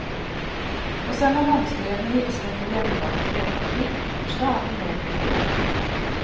Å sende håndskrevne hilsener på hjemmelaget brevpapir blir stadig mer populært.